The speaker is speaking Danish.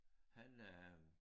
Han øh